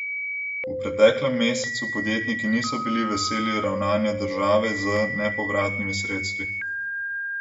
V preteklem mesecu podjetniki nismo bili veseli ravnanja države z nepovratnimi sredstvi.